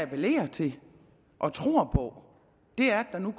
appellerer til og tror på er at der nu